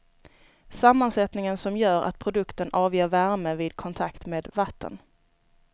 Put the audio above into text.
Sammansättning som gör att produkten avger värme vid kontakt med vatten.